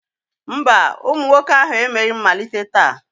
Mba, ụmụ nwoke ahụ emeghị mmalite taa